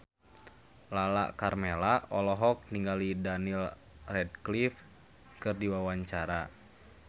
Lala Karmela olohok ningali Daniel Radcliffe keur diwawancara